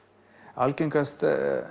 algengast